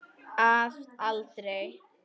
Að aldrei.